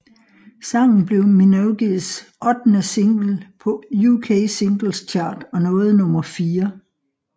Sangen blev Minogues ottende single på UK Singles Chart og nåede nummer fire